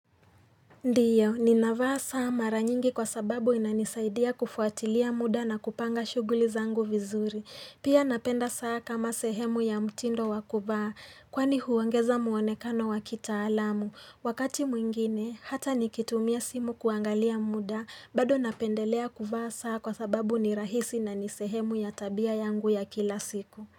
Ndiyo, ni navaa saa mara nyingi kwa sababu inanisaidia kufuatilia muda na kupanga shughuli zangu vizuri. Pia napenda saa kama sehemu ya mtindo wakuvaa, kwani huongeza muonekano wakita alamu. Wakati mwingine, hata nikitumia simu kuangalia muda, bado napendelea kuvaa saa kwa sababu ni rahisi na nisehemu ya tabia yangu ya kila siku.